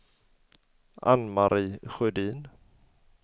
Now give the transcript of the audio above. Ann-Marie Sjödin